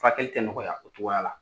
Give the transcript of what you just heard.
Furakɛli tɛ nɔgɔya o cogoya la